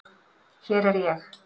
Hér er ég.